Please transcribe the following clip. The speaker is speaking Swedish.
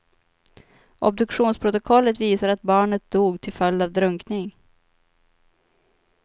Obduktionsprotokollet visar att barnet dog till följd av drunkning.